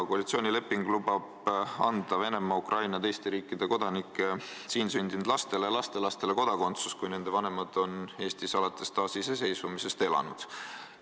Koalitsioonileping lubab anda Venemaa, Ukraina ja teiste riikide kodanike siin sündinud lastele ja lastelastele kodakondsuse, kui nende vanemad on alates taasiseseisvumisest Eestis elanud.